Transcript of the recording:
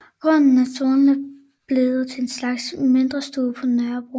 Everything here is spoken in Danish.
Grunden er således blevet en slags mindestue på Nørrebro